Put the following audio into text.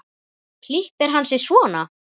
Klippir hann sig svona.